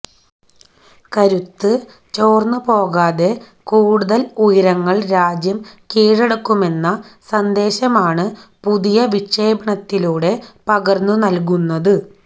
കരുത്ത് ചോര്ന്നുപോകാതെ കൂടുതല് ഉയരങ്ങള് രാജ്യം കീഴടക്കുമെന്ന സന്ദേശമാണ് പുതിയ വിക്ഷേപണത്തിലൂടെ പകര്ന്നുനല്കുന്നത്